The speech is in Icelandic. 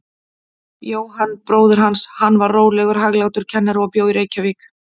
Jóhann bróðir hans, hann var rólegur, hæglátur kennari og bjó í Reykjavík.